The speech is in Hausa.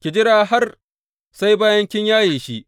Ki jira har sai bayan kin yaye shi.